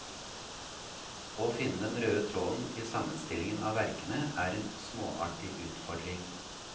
Å finne den røde tråden i sammenstillingen av verkene er en småartig utfordring.